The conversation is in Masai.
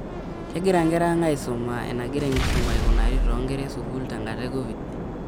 Kegira nkera ang' aisuma? Enegira enkisuma aikunari toonkera esukuul tenkata e Covid